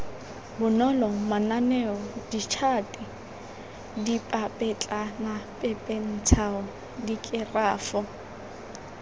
bonolo mananeo ditšhate dipapetlanapepentsho dikerafo